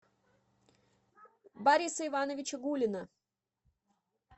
бориса ивановича гулина